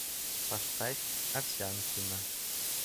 поставь овсянкина